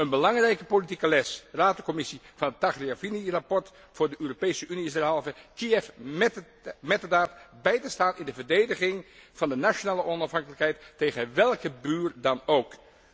Een belangrijke politieke les van het Tagliavini rapport voor de Europese Unie is derhalve Kiev metterdaad bij te staan in de verdediging van de nationale onafhankelijkheid tegen welke buur dan ook.